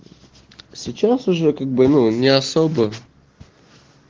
сейчас уже как бы ну не особо